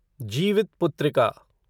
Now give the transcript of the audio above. Jivitputrika